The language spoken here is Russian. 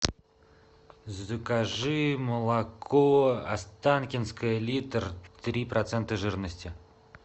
закажи молоко останкинское литр три процента жирности